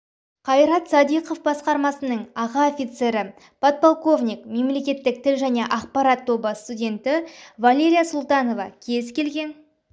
қайрат садиқов басқармасының аға офицері подполковник мемлекеттік тіл және ақпарат тобы студенті валерия султанова кез келген